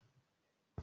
Má mọ ère.